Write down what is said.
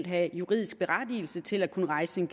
have juridisk berettigelse til at kunne rejse en